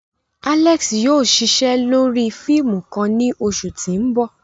Alex yóò ṣiṣe lori fiimu kan ni oṣu ti n bọ.